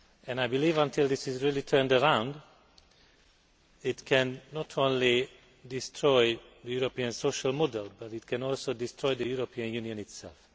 I believe that, until this is really turned around, this can not only destroy the European social model, but can also destroy the European Union itself.